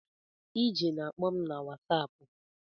Ije na-akpọ m na whasapụ